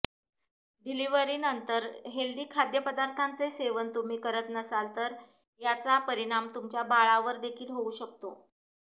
डिलिव्हरीनंतर healthy खाद्यपदार्थांचे सेवन तुम्ही करत नसाल तर याचा परिणाम तुमच्या बाळावर देखील होऊ शकतो